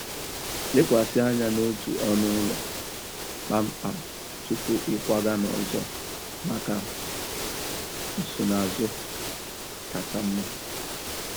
Lekwasị anya n'otu ọnụ ụlọ kpamkpam tupu ịkwaga n'ọzọ maka nsonaazụ kacha mma.